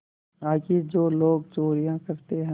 आखिर जो लोग चोरियॉँ करते हैं